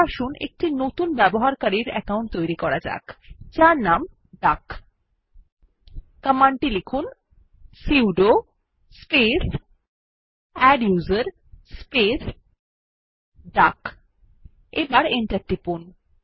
তাহলে আসুন একটি নতুন ব্যবহারকারীর অ্যাকাউন্ট তৈরী করা যাক যার নাম ডাক কমান্ড টি লিখুন 160 sudo space adduser space duck এবার এন্টার টিপুন